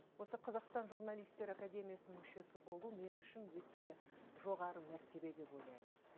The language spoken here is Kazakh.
осы қазақстан журналистер академиясының мүшесі болу мен үшін өте жоғары мәртебе деп ойлаймын